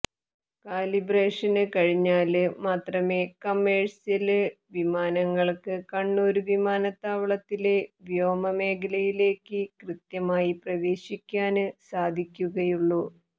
കാലിബ്രേഷന് കഴിഞ്ഞാല് മാത്രമേ കമേഴ്ഷ്യല് വിമാനങ്ങള്ക്ക് കണ്ണൂര് വിമാനത്താവളത്തിലെ വ്യോമമേഖലയിലേക്ക് കൃത്യമായി പ്രവേശിക്കാന് സാധിക്കുകയുള്ളൂ